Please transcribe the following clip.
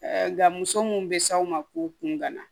Nka muso mun bɛ s'aw ma k'u kun gana